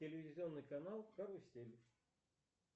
телевизионный канал карусель